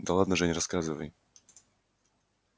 да ладно жень рассказывай